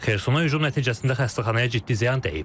Xersona hücum nəticəsində xəstəxanaya ciddi ziyan dəyib.